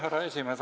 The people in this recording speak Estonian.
Härra esimees!